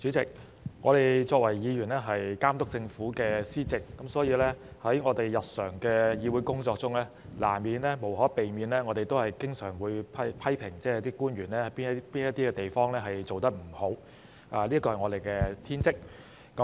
主席，我們作為議員的職責是監督政府施政，所以我們在日常的議會工作中，無可避免地會經常批評官員有甚麼地方做得不好，這是我們的天職。